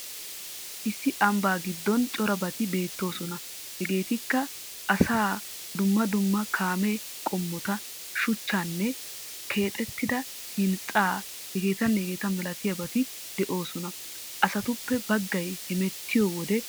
Issi ambbaa giddon corabati beettoosona. Hegeetikka asaa dumma dumma kaame qommota shuchchan keexettida hinxxatanne h.h.malatiyabati de'oosona. Asatuppe baggay hemeettoyo wode baggay qassi uttiis.